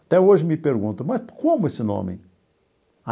Até hoje me perguntam, mas como esse nome?